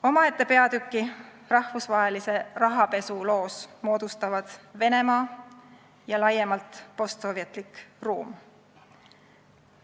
Omaette peatüki rahvusvahelise rahapesu loos moodustavad Venemaa ja laiemalt postsovetlik ruum.